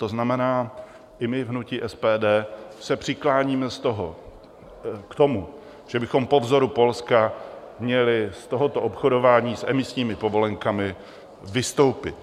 To znamená, i my v hnutí SPD se přikláníme k tomu, že bychom po vzoru Polska měli z tohoto obchodování s emisními povolenkami vystoupit.